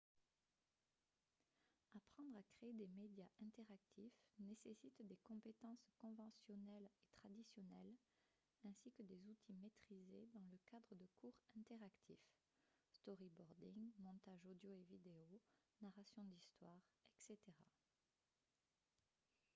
apprendre à créer des médias interactifs nécessite des compétences conventionnelles et traditionnelles ainsi que des outils maîtrisés dans le cadre de cours interactifs storyboarding montage audio et vidéo narration d'histoires etc.